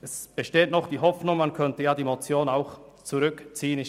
Es besteht noch die Hoffnung, dass die Motion zurückgezogen wird.